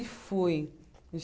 E fui.